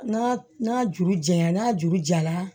N'a juru diyara n'a juru jara